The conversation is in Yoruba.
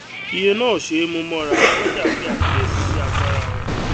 iye náà ò ṣé é mú mọra ọlójà pe àkíyèsí sí agbára wón